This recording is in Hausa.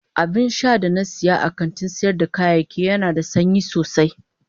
Abinsha da na siya a kantin sayar da kayayyaki Yana da sanyi sosai.